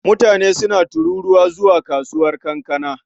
Mutane suna tururuwa zuwa kasuwar kankana.